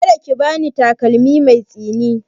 Ka da ki ba ni takalmi mai tsini!